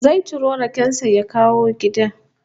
Zai ciro raken sa ya kawo gida